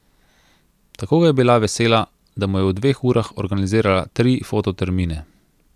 Tako ga je bila vesela, da mu je v dveh urah organizirala tri fototermine.